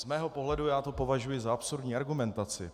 Z mého pohledu - já to považuji za absurdní argumentaci.